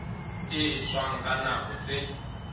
e etswang ka nako tse